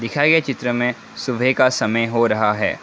खियाये चित्र में सुबह का समय हो रहा है।